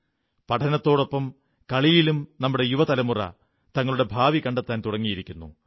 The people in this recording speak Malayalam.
പഠനത്തോടൊപ്പം കളികളിലും നമ്മുടെ യുവ തലമുറ തങ്ങളുടെ ഭാവി കണ്ടെത്താൻ തുടങ്ങിയിരിക്കുന്നു